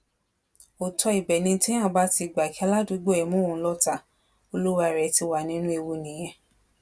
òótọ ibẹ ni téèyàn bá ti gbà kí aládùúgbò ẹ mú òun lọtàá olúwalẹ ti wà nínú ewu nìyẹn